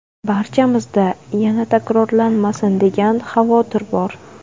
Barchamizda ‘yana takrorlanmasin’ degan xavotir bor.